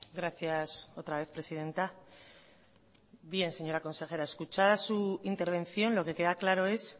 gracias otra vez presidenta bien señora consejera escuchada su intervención lo que queda claro es